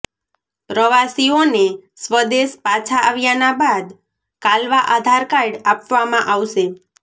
પ્રવાસીઓને સ્વદેશ પાછા આવ્યાના બાદ કાલવા આધાર કાર્ડ આપવામાં આવશે